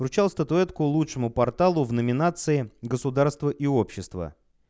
вручал статуэтку лучшему порталу в номинации государство и общество